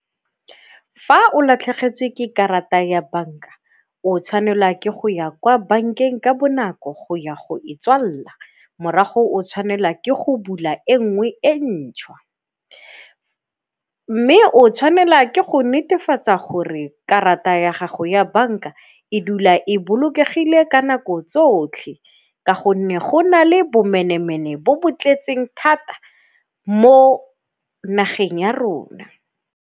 Fa o latlhegetswe ke karata ya banka o tshwanela ke go ya kwa bankeng ka bonako go ya go e tswalela morago o tshwanela ke go bula e nngwe e ntšhwa. Mme o tshwanela ke go netefatsa gore karata ya gago ya banka e dula e bolokegile ka nako tsotlhe ka gonne go na le bomenemene bo bo tletseng thata mo nageng ya rona.